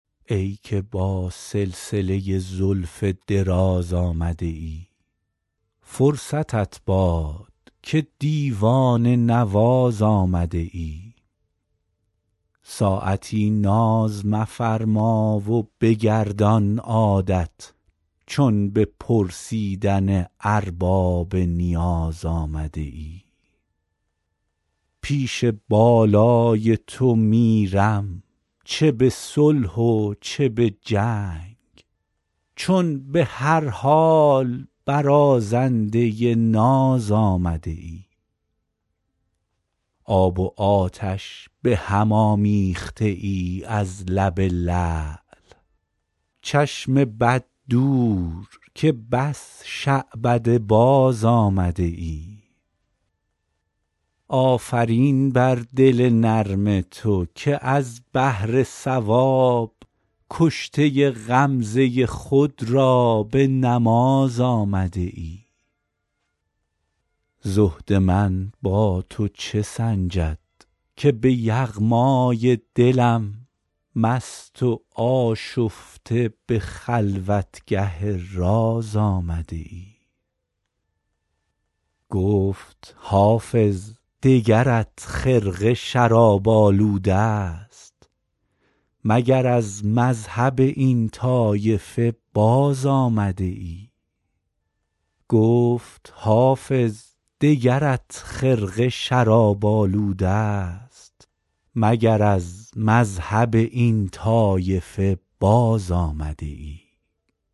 ای که با سلسله زلف دراز آمده ای فرصتت باد که دیوانه نواز آمده ای ساعتی ناز مفرما و بگردان عادت چون به پرسیدن ارباب نیاز آمده ای پیش بالای تو میرم چه به صلح و چه به جنگ چون به هر حال برازنده ناز آمده ای آب و آتش به هم آمیخته ای از لب لعل چشم بد دور که بس شعبده باز آمده ای آفرین بر دل نرم تو که از بهر ثواب کشته غمزه خود را به نماز آمده ای زهد من با تو چه سنجد که به یغمای دلم مست و آشفته به خلوتگه راز آمده ای گفت حافظ دگرت خرقه شراب آلوده ست مگر از مذهب این طایفه باز آمده ای